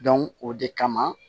o de kama